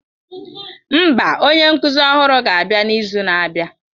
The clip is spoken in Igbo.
Mba, onye nkuzi ọhụrụ ga-abịa n'izu na-abịa